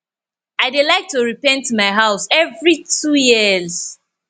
i dey like to repaint my house every two years